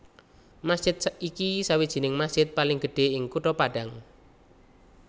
Masjid iki sawijining masjid paling gedhe ing Kutha Padang